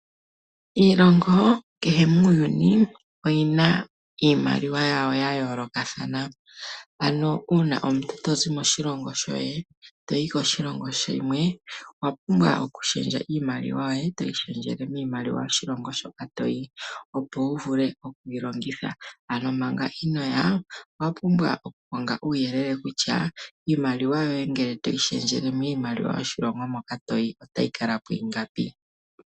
Iilongo kehe muuyuni, oyi na iimaliwa yawo ya yoolokathana. Uuna omuntu to zi moshilongo shoye, to yi koshilongo shimwe, owa pumbwa okushendja iimaliwa yoye, to yi shendjele miimaliwa yoshilongo shoka to yi, opo wu vule oku yi longitha. Manga ino ya owa pumbwa okukonga uuyelele kutya iimaliwa yoye ngele to yi shendjele miimaliwa yoshilongo moka to yi, ota yi kala po ingapi.